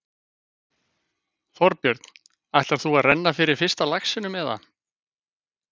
Þorbjörn: Ætlar þú þá að renna fyrir fyrsta laxinum, eða?